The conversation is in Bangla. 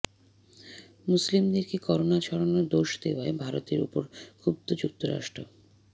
মুসলিমদেরকে করোনা ছড়ানোর দোষ দেওয়ায় ভারতের ওপর ক্ষুব্ধ যুক্তরাষ্ট্র